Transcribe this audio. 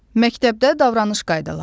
Məktəbdə davranış qaydaları.